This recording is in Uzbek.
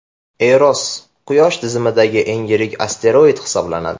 Eros – quyosh tizimidagi eng yirik asteroid hisoblanadi.